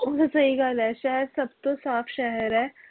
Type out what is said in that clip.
ਉਜ ਸਹੀ ਗੱਲ ਐ ਸ਼ਹਿਰ ਸਬ ਤੋਂ ਸਾਫ ਸ਼ਹਿਰ ਐ